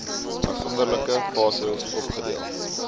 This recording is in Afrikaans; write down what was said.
afsonderlike fases opgedeel